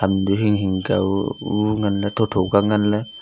dui hing hing ka oooh nganlay tho tho kia nganlay.